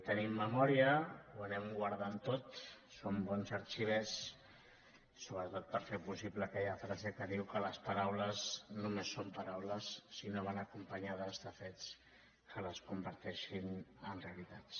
tenim memòria ho anem guardant tot som bons arxivers sobretot per fer possible aquella frase que diu que les paraules només són paraules si no van acompanyades de fets que les converteixin en realitats